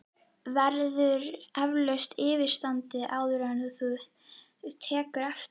Verður eflaust yfirstaðið, áður en þú tekur eftir?!